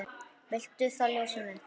Viltu það ljósið mitt?